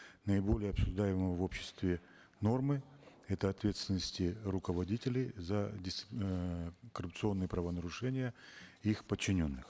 наиболее обсуждаемого в обществе нормы это ответственности руководителей за эээ коррупционные правонарушения их подчиненных